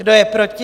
Kdo je proti?